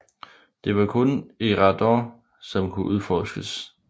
Det var kun Eriador som kunne udforskes